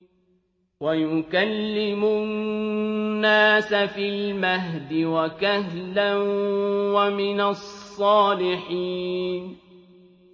وَيُكَلِّمُ النَّاسَ فِي الْمَهْدِ وَكَهْلًا وَمِنَ الصَّالِحِينَ